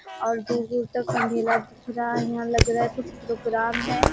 और दूर-दूर तक अंधेरा दिख रहा है यहां लग रहा है कुछ प्रोग्राम है।